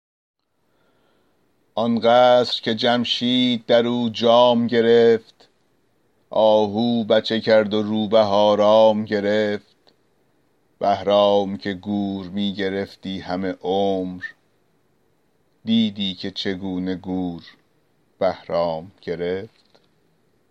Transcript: آن قصر که جمشید در او جام گرفت آهو بچه کرد و روبه آرام گرفت بهرام که گور می گرفتی همه عمر دیدی که چگونه گور بهرام گرفت